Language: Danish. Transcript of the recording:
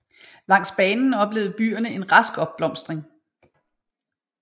Langs banen oplevede byerne en rask opblomstring